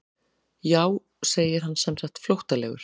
Jú segir hann semsagt flóttalegur.